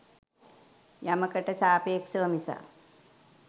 යමකට සාපේක්‍ෂව මිසක්